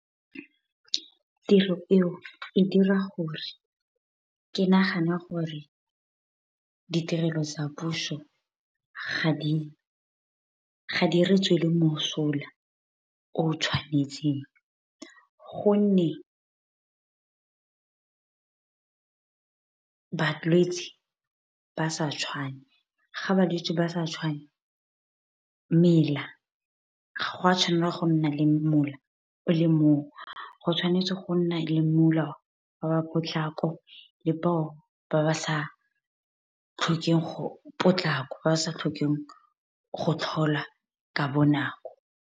Tiro eo e dira gore ke nagane gore ditirelo tsa puso ga di re tswela mosola, o tshwanetseng, gonne balwetse ba sa tshwane. Ga balwetse ba sa tshwane mela, ga gwa tshwanela gonna le mola o le mongwe. Go tshwanetse go nna le mola wa ba ba potlako le bao ba ba sa tlhokeng go tlhola ka bonako.